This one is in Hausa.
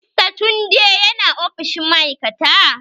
Mr tunde yana ofishin ma'aikata?